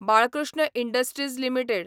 Balkrishna industries limited